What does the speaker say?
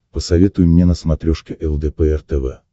посоветуй мне на смотрешке лдпр тв